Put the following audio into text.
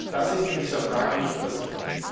Das ist in dieser Frage nicht passiert.